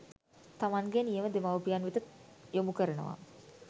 තමන්ගේ නියම දෙමව්පියන් වෙත යොමු කරනවා